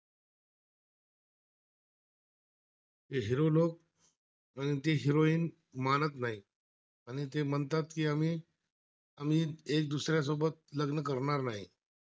ते हिरो लोक आणि ती हिरोईन मानत नाही, आणि ते म्हणतात की आम्ही, आम्ही एक दुसऱ्यासोबत लग्न करणार नाही